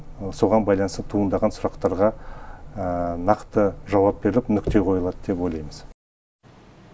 соған байланысты туындаған сұрақтарға нақты жауап беріліп нүкте қойылады деп ойлаймыз